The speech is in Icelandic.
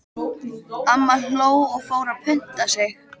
Amma hló og fór að punta sig.